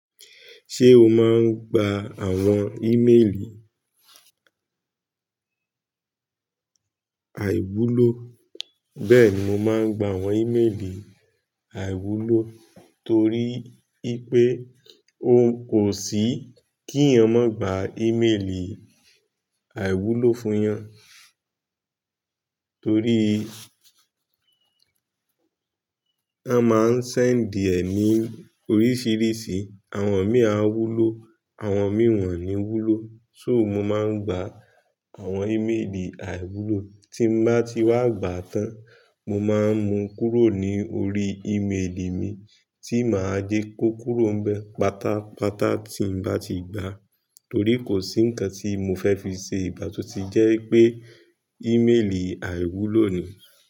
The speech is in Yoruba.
Ṣé o máa ń gba àwọn ímélì àìwúlò? Bẹ́ẹ̀ni, mo máa ń gba àwọn ímélì àìwúlò torí ipé ó kò sí kí yan gba ímélì àìwúlò fún yan torí a máa ń sẹ́ǹdì ẹni oríṣìíríṣìí, àwọn mì àwúlò, àwọn mìn won ní wúlò. So mo máa ń gba àwọn ímélì àìwúlò, tí n bá ti wá gbà tán, mo máa ń mu kúrò ní orí ímélì mi tí mà á jẹ kó kúrò bẹ́ pátápátá tí n bá ti gbà torí kò sí ǹkan tí mo fẹ́ fi ṣe ìgbá to tí jẹ́ pé ímélì àìwúlò nìí.